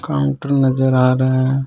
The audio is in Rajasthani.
काउंटर नजर आ रहा है।